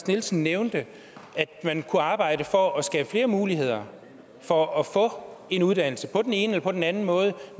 nielsen nævnte at man kunne arbejde for at skabe flere muligheder for at få en uddannelse på den ene eller på den anden måde